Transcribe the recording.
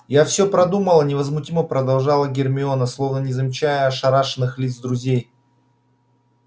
я всё продумала невозмутимо продолжала гермиона словно не замечая ошарашенных лиц друзей